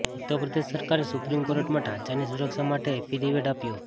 ઉત્તર પ્રદેશ સરકારે સુપ્રીમ કોર્ટમાં ઢાંચાની સુરક્ષા માટે એફિડેવિટ આપ્યો